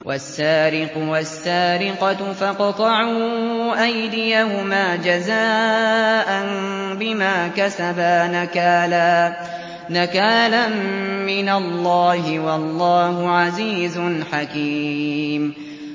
وَالسَّارِقُ وَالسَّارِقَةُ فَاقْطَعُوا أَيْدِيَهُمَا جَزَاءً بِمَا كَسَبَا نَكَالًا مِّنَ اللَّهِ ۗ وَاللَّهُ عَزِيزٌ حَكِيمٌ